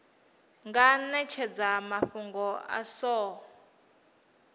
nga netshedza mafhungo a so